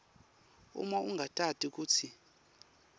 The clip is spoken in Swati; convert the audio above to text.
uma ungatati kutsi